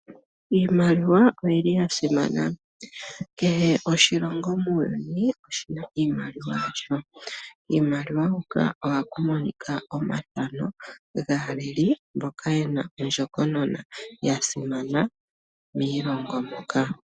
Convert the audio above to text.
Iimaliwa oya simana. Kehe oshilongo muuyuni oshi na iimaliwa yasho. Kiimaliwa hoka ohaku monika omathano gaaleli mboka ye na ondjokonona ya simana miilongo moka.